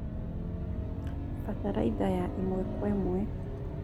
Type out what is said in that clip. Bataraitha ya ĩmwe Kwa ĩmwe